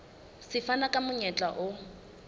se fana ka monyetla o